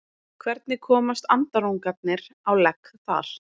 hvernig komast andarungarnir á legg þar